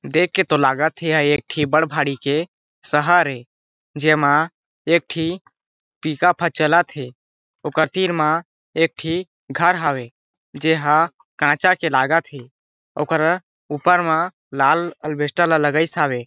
देख के तो लगत हे ये एक ठी बड़ भारी के शहर हे जेमा एक ठी ही पिकअप ह चलत हे ओकर तीर मा एक ठी घर हावे जे ह काचा के लगत हे ओकर ऊपर मा लाल अलबेस्टर ला लगाइस हावे।